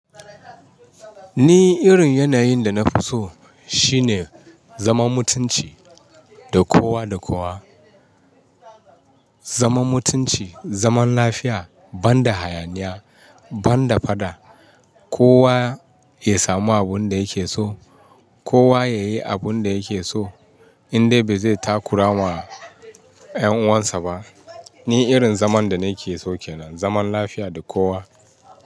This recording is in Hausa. Ni irin yanayin da nafi so shine, zaman mutunci da kowa da kowa. Zaman mutunci, zaman lafiya, ban da hayaniya, ban da faɗa. Kowa ya samu abin da yake so. Kowa ya yi abin da yake so, indai bai zai takura wa ƴan uwansa ba. Ni irin zaman da nake so kenan, zaman lafiya da kowa.